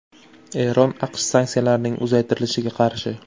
Eron AQSh sanksiyalarining uzaytirilishiga qarshi.